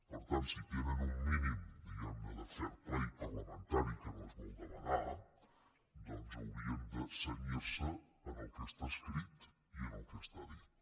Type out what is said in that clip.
per tant si tenen un mínim diguemne de fair playparlamentari que no és molt demanar doncs haurien de cenyirse al que està escrit i al que està dit